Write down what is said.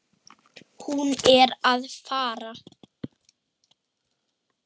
Hún er að fara.